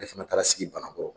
Ale fana taara sigi banankɔrɔ